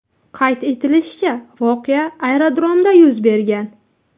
Qayd etilishicha, voqea aerodromda yuz bergan.